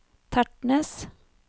Tertnes